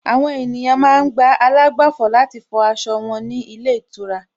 Àwọn ènìyàn ma ń gba àlágbàfọ̀ láti fọ aṣọ wọn ní ilé ìtura